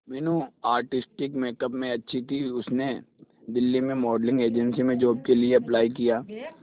Meenu artistic makeup में अच्छी थी उसने दिल्ली में मॉडलिंग एजेंसी में जॉब के लिए अप्लाई किया